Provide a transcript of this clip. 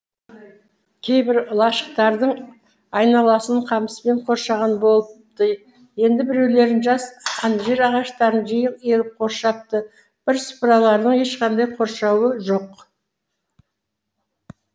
кейбір лашықтардың айналасын қамыспен қоршаған болыпты енді біреулерін жас анжир ағаштарын жиі егіп қоршапты бірсыпыраларының ешқандай қоршауы жоқ